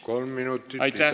Kolm minutit lisaaega.